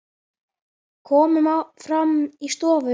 Komum fram í stofu.